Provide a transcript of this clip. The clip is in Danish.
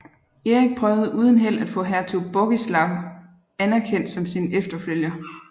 Erik prøvede uden held at få hertug Bogislaw anerkendt som sin efterfølger